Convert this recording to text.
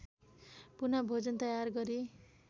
पुनः भोजन तयार गरी